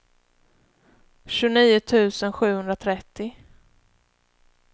tjugonio tusen sjuhundratrettio